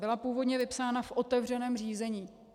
Byla původně vypsána v otevřeném řízení.